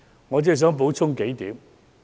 我只想補充幾點。